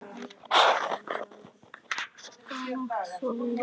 Góða nótt og sofðu rótt.